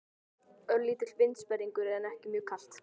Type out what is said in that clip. Örlítill vindsperringur en ekki mjög kalt.